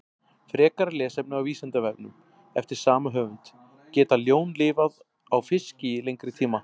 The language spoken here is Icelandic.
Frekara lesefni á Vísindavefnum eftir sama höfund: Geta ljón lifað á fiski í lengri tíma?